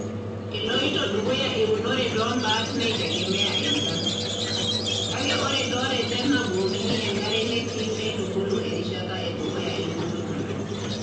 Eloito dukuya eunore too mbat naitegemea enchan, kake ore too rreten naabukokini enkare netii nkaitubulu erishata e dukuya ebulunoto.